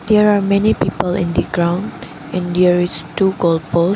there are many people in the ground in there is two goal poles.